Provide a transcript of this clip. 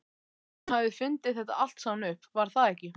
Hún hafði fundið þetta allt saman upp, var það ekki?